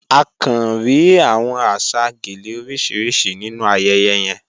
À kàn ríí awọn àṣà gèlè orísiríṣì nínu ayẹyẹ yẹ̀n.